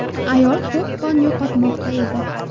Ayol ko‘p qon yo‘qotmoqda edi.